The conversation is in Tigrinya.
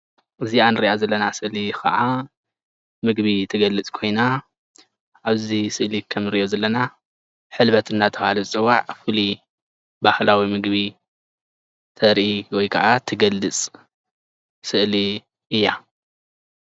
እዚኣ እንርኣ ዘለና ስእሊ ከዓ ምግቢ እትገልፅ ኮይና ኣብዚ ስእሊ ከምዚ እንሪኦ ዘለና ሕልበት እንዳተባሃለ ዝፅዋዕ ፉሉይ ባህላዊ ምግቢ ተርኢ ወይ ከዓ እትገልፅ ስእሊ እያ፡፡